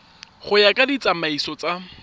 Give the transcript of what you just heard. go ya ka ditsamaiso tsa